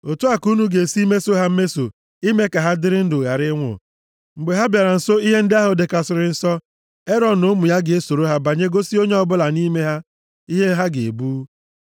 Otu a ka unu ga-esi meso ha mmeso ime ka ha dịrị ndụ, ghara ịnwụ, mgbe ha bịara nso ihe ndị ahụ dịkarịsịrị nsọ, Erọn na ụmụ ya ga-esoro ha banye gosi onye ọ bụla nʼime ha ihe ha ga-ebu.